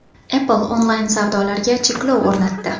Apple onlayn-savdolarga cheklov o‘rnatdi.